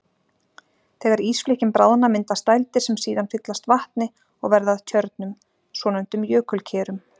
Þegar ísflikkin bráðna myndast dældir sem síðan fyllast vatni og verða að tjörnum, svonefndum jökulkerum.